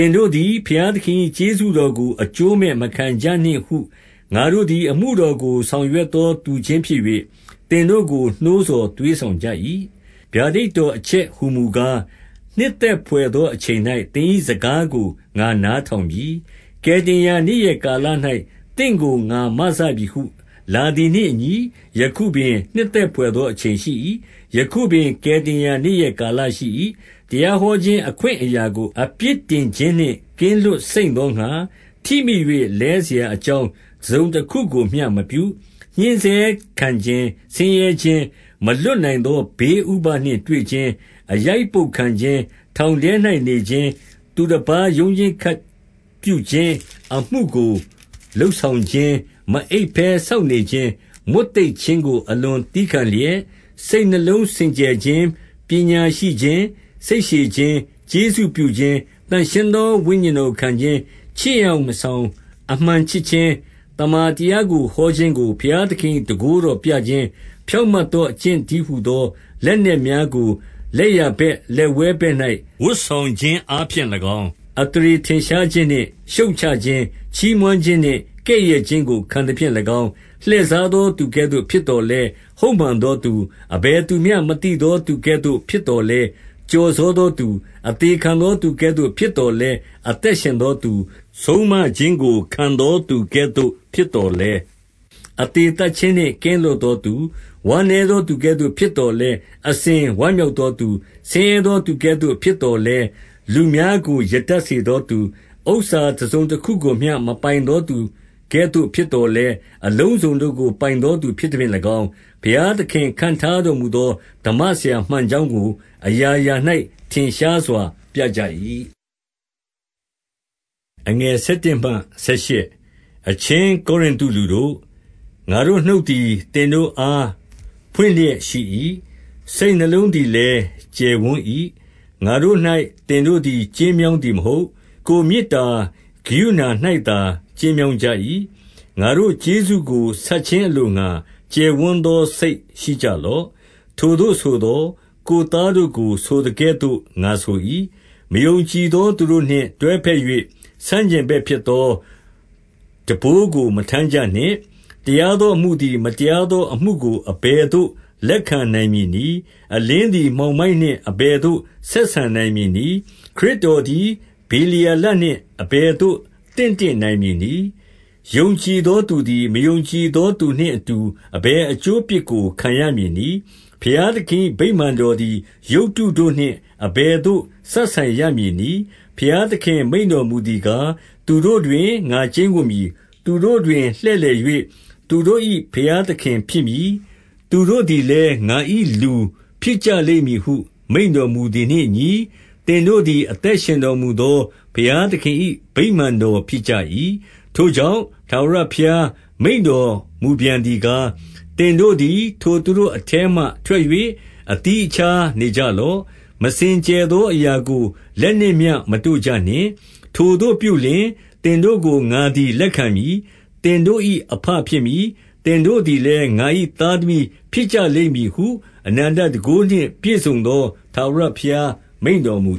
င်တို့သည် ဘုရားသခင်၏ကျေးဇူတော်ကို အကျိုးမဲ့မခံကြနှင့်ဟု ငါတို့သည် အမှုတော်ကို ဆောင် ရွတ်သောသူချင်းဖြစ်၍ သင်တို့ကို့ နှိုးဆော် သွေးဆောင်ကြ၏။ 2 ဗျာဒိတ်တော် အချက်ဟူမူကား၊ နှစ်သက်ဖွယ်သောအချိန်၌ သင်၏စကားကို ငါနားထောင်ပြီး။ ကယ်တင်ရာနေ့ရက်ကာလ၌ သင့်ကို ငါမစပြီဟု လာသည်နှင့်အညီ ယခုပင်နှစ်သက်ဖွယ်သောအချိန် ရှိ၏။ ယခုပင်ကယ်တင်ရာ နေ့ရက်ကာလရှိ၏။ 3 တရားဟောခြင်းအခွင့်အရာကို အပြစ်တင်ခြင်းနှင့် ကင်းလွတ်စိမ့်သောငှါ၊ ထိမိ၍လဲစရာအကြောင်း တစုံတခုကိုမျှမပြု။ 4 ညှင်းဆဲခံခြင်း၊ ဆင်းရဲခြင်း၊ မလွတ်နိုင်သော ဘေးဥပဒ်နှင့်တွေ့ခြင်း၊ 5 အရိုက်အပုဒ်ခံခြင်း၊ ထောင်ထဲ၌နေခြင်း၊ သူတပါးရုန်းရင်းခတ်ပြုခြင်း၊ အမှုကိုလုပ်ဆောင်ခြင်း၊ မအိပ်ဘဲစောင့်နေခြင်း၊ မွတ်သိပ်ခြင်းကို အလွန်သည်းခံလျက်၊ 6 စိတ်နှလုံးစင်ကြယ်ခြင်း၊ ပညာရှိခြင်း၊ စိတ်ရှည်ခြင်း၊ ကျေးဇူးပြုခြင်း၊ သန့်ရှင်းသော ဝိညာဉ်တော်ကို ခံခြင်း၊ ချစ်ယောင်မဆောင်အမှန်ချစ်ခြင်း၊ 7 သမ္မာတရားကိုဟောခြင်း ဘုရားသခင်၏ တန်ခိုးတော်ကိုပြခြင်း၊ ဖြောင့်မတ်သောအကျင့်တည်း ဟူသော လက်နက်များကို လက်ျာဘက် လက်ဝဲဘက်၌ ဝတ်ဆောင်ခြင်းအားဖြင့်၎င်း၊ 8 အသရေထင်ရှားခြင်းနှင့်ရှုတ်ချခြင်း၊ ချီးမွမ်းခြင်းနှင့် ကဲ့ရဲ့ခြင်းကို ခံသဖြင့်၎င်း၊ လှည့်စားသောသူ ကဲ့သို့ဖြစ်သော်လည်း၊ ဟုတ်မှန်သောသူ၊ 9 အဘယ်သူမျှမသိသော သူကဲ့သို့ဖြစ်သော်လည်း ကျော်စောသောသူ၊ အသေခံသောသူကဲ့သို့ ဖြစ်သော် လည်း၊ အသက်ရှင်သောသူ၊ ဆုံးမခြင်းကိုခံသောသူကဲ့သို့ ဖြစ်သော်လည်း၊ အသေသတ်ခြင်းနှင့်ကင်း လွတ်သောသူ၊ 10 ဝမ်းနည်းသောသူကဲ့သို့ဖြစ်သော်လည်း၊ အစဉ် ဝမ်းမြောက်သောသူ၊ ဆင်းရဲသောသူကဲ့သို့ဖြစ်သော် လည်း၊ လူအများကိုရတတ်စေသောသူ၊ ဥစ္စာတစုံတခုကိုမျှ မပိုင်သောသူကဲ့သို့ဖြစ်သော်လည်း၊ အလုံးစုံသော သူတို့ကိုပိုင်သောသူဖြစ်သဖြင့်၎င်း၊ ဘုရားသခင်ခန့်ထားတော်မူသော စမ္မဆရာမှန်ကြောင်းကို အရာရာ၌ ထင်ရှားစွာပြ၏။ 11 အချင်းကောရိနသုလူတို့၊ ငါတို့နှုတ်သည် သင်တို့အာ ဖွင့်လျက်ရှိ၏။ စိတ်နှလုံးသည်လည်း ကျယ်ဝန်း၏။ 12 ငါတို့၌သင်တို့သည် ကျဉ်းမြောင်းသည် မဟုတ်။ ကိုယ်မေတ္တာ ကရုဏာ၌သာ ကျဉ်းမြောင်းကြ၏။ 13 ငါတို့ကျေးဇူးကိုဆပ်ခြင်းအလို့ငှါ ကျယ်ဝန်းသောစိတ် ရှိကြလော့။ ထိုသို့ဆိုသော် ကိုယ်သားတို့ကို ဆိုသကဲ့သို့ ငါဆို၏။ 14 မယုံကြည်သောသူတို့နှင့်တွဲဖက်၍ ဆန့်ကျင်ဘက်ဖြစ်သော ထမ်းဘိုးကို မထမ်းကြနှင့်။ တရားသော အမှုသည် မတရားသောအမှုကို အဘယ်သို့ လက်ခံနိုင်မည်နည်း။ အလင်းသည်မှောင်မိုက်နှင့် အဘယ်သို့ ဆက်ဆံနိုင်မည်နည်း။ 15 ခရစ်တော်သည်ဗေလျာလနှင့် အဘယ်သို့ သင့်တင့်နိုင်မည်နည်း။ ယုံကြည်သောသူသည် မယုံကြည် သောသူနှင့်အတူ အဘယ် အကျိုးအပြစ်ကို ခံရမည်နည်း။ 16 ဘုရားသခင်၏ဗိမာန်တော်သည် ရုပ်တုတို့နှင့် အဘယ်သို့ စပ်ဆိုင်ရမည်နည်း။ ဘုရားသခင်မိန့်တော်မူ သည်ကား၊ သူတို့တွင်ငါကျိန်းဝပ်မည်။ သူတို့တွင်လှည့်လည်၍ သူတို့၏ဘုရားသခင်ဖြစ်မည်။ သူတို့သည်လည်း ငါ၏လူဖြစ်ကြလိမ့်မည်ဟု မိန့်တော်မူသည်နှင့်အညီ၊ သင်တို့သည် အသက်ရှင်တော်မူသော ဘုရားသခင်၏ ဗိမာန်တော်ဖြစ်ကြ၏။ 17 ထိုကြောင့်၊ ထာဝရဘုရားမိန့်တော်မူပြန်သည်ကား၊ သင်တို့သည်ထိုသူတို့အထဲမှထွက်၍ အသီးအခြား နေကြလော့။ မစင်ကြယ်သောအရာကိုလက်နှင့်မျှ မတို့ကြနှင့်။ ထိုသို့ပြုလျှင် သင်တို့ကိုငါသည် လက်ခံမည်။ 18 သင်တို့၏အဘဖြစ်မည်။ သင်တို့သည်လည်း ငါ၏သားသမီးဖြစ်ကြလိမ့်မည်ဟု အနန္တတန်ခိုးနှင့် ပြည့်စုံသောထာဝရဘုရား မိန့်တော်မူ